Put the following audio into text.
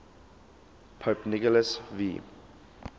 pope nicholas v